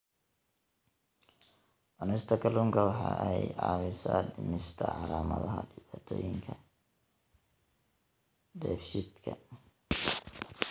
Cunista kalluunka waxa ay caawisaa dhimista calaamadaha dhibaatooyinka dheefshiidka.